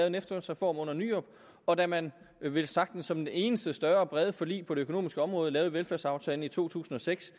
en efterlønsreform under nyrup og da man velsagtens som det eneste større brede forlig på det økonomiske område lavede velfærdsaftalen i to tusind og seks